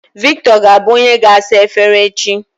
Victor ga-abụ onye ga-asa efere echi.